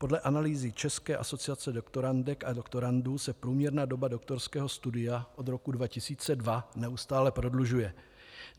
Podle analýzy České asociace doktorandek a doktorandů se průměrná doba doktorského studia od roku 2002 neustále prodlužuje.